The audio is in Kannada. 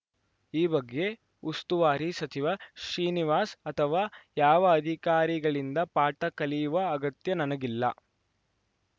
ಈ ಬಗ್ಗೆ ಉಸ್ತುವಾರಿ ಸಚಿವ ಶ್ರೀನಿವಾಸ್‌ ಅಥವಾ ಯಾವ ಅಧಿಕಾರಿಗಳಿಂದ ಪಾಠ ಕಲಿಯುವ ಅಗತ್ಯ ನನಗಿಲ್ಲ